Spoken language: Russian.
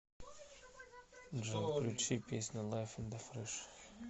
джой включи песня лайф ин да трэш